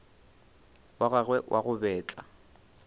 wa gagwe wa go betla